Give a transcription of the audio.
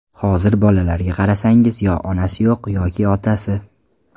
Hozir bolalarga qarasangiz, yo onasi yo‘q, yoki otasi.